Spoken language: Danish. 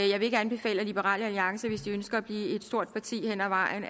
jeg vil ikke anbefale at liberal alliance hvis de ønsker at blive et stort parti hen ad vejen